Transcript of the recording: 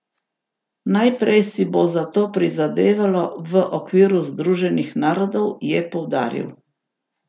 Najprej si bo za to prizadevalo v okviru Združenih narodov, je poudaril.